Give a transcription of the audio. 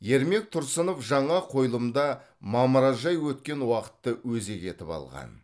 ермек тұрсынов жаңа қойылымда мамыражай өткен уақытты өзек етіп алған